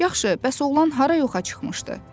Yaxşı, bəs oğlan hara yoxa çıxmışdı?